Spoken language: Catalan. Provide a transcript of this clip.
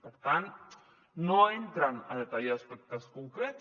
per tant no entren a detallar aspectes concrets